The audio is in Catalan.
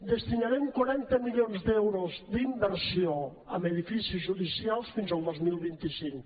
destinarem quaranta milions d’euros d’inversió en edificis judicials fins al dos mil vint cinc